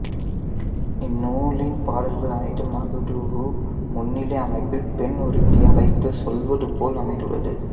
இந்நூலின் பாடல்கள் அனைத்தும் மகடூஉ முன்னிலை அமைப்பில் பெண் ஒருத்தியை அழைத்துச் சொல்வது போல அமைந்துள்ளன